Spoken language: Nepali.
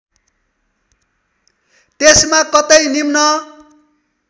त्यसमा कतै निम्न